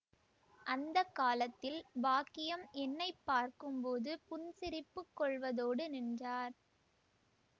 அந்த காலத்தில் பாக்கியம் என்னை பார்க்கும்போது புன்சிரிப்புக் கொள்வதோடு நின்றார்